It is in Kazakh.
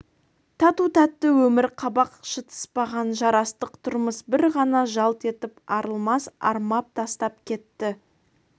тату-тәтті өмір қабақ шытыспаған жарастық тұрмыс бір ғана жалт етіп арылмас армап тастап кетті